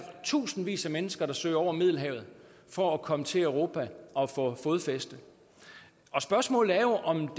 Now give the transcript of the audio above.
tusindvis af mennesker der søger over middelhavet for at komme til europa og få fodfæste spørgsmålet er om